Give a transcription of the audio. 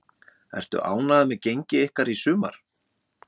Ertu ánægður með gengi ykkar í sumar?